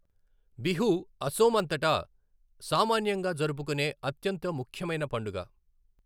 బిహూ అసోమ్ అంతటా సామాన్యంగా జరుపుకునే అత్యంత ముఖ్యమైన పండుగ.